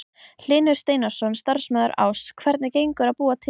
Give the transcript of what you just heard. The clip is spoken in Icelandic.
Hlynur Steinarsson, starfsmaður Áss: Hvernig gengur að búa til?